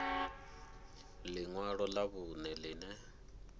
ḽi ṅwalo ḽa vhuṋe ḽine